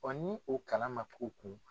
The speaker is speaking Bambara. ni o kalan ma k'o kun?